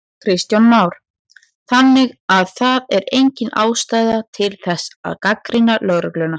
Kristján Már: Þannig að það er engin ástæða til þess að gagnrýna lögregluna?